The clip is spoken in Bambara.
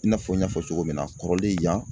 I n'a fɔ n y'a fɔ cogo min na kɔrɔlen yan